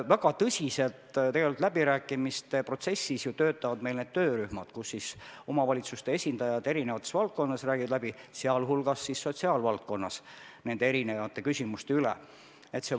Väga tõsiselt töötavad meil läbirääkimiste protsessis need töörühmad, kus omavalitsuste esindajad eri valdkondades, sh sotsiaalvaldkonnas, räägivad need küsimused läbi.